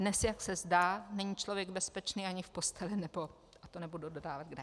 Dnes, jak se zdá, není člověk bezpečný ani v posteli nebo - to nebudu dodávat kde.